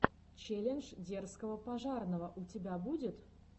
челлендж дерзкого пожарного у тебя будет